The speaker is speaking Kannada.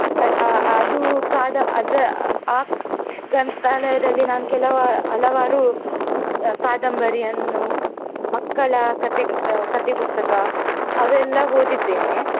ಅ~ ಅ~ ಅದು ಕಾದ~ ಅದ್ರ ಆ ಗ್ರಂಥಾಲಯದಲ್ಲಿ ನಾನು ಕೆಲವ~ ಹಲವಾರು ಪುಸ್~ ಕಾದಂಬರಿಯನ್ನು ಮಕ್ಕಳ ಕಥೆಗ~ ಕಥೆಪುಸ್ತಕ ಅವೆಲ್ಲ ಓದಿದ್ದೇನೆ.